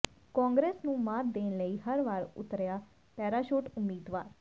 ਕਾਂਗਰਸ ਨੂੰ ਮਾਤ ਦੇਣ ਲਈ ਹਰ ਵਾਰ ਉਤਾਰਿਆ ਪੈਰਾਸ਼ੂਟ ਉਮੀਦਵਾਰ